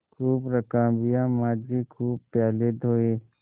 खूब रकाबियाँ माँजी खूब प्याले धोये